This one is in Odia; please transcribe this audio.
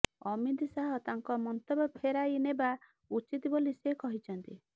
ଅମିତ ଶାହ ତାଙ୍କ ମନ୍ତବ୍ୟ ଫେରାଇନେବା ଉଚିତ୍ ବୋଲି ସେ କହିଛନ୍ତି